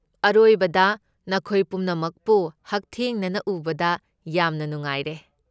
ꯑꯔꯣꯏꯕꯗ ꯅꯈꯣꯏ ꯄꯨꯝꯅꯃꯛꯄꯨ ꯍꯛꯊꯦꯡꯅꯅ ꯎꯕꯗ ꯌꯥꯝꯅ ꯅꯨꯡꯉꯥꯏꯔꯦ꯫